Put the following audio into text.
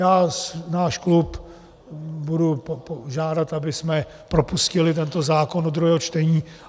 Já náš klub budu žádat, abychom propustili tento zákon do druhého čtení.